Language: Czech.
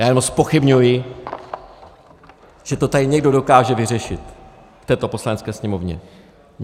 Já jenom zpochybňuji, že to tady někdo dokáže vyřešit v této Poslanecké sněmovně.